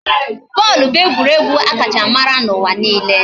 Bọọlụ bụ egwuregwu a kacha mara n'ụwa niile